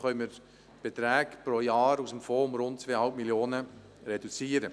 So können die Beträge pro Jahr aus dem Fonds um rund 2,5 Mio. Franken reduziert werden.